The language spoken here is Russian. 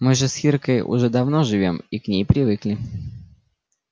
мы же с иркой уже давно живём и к ней привыкли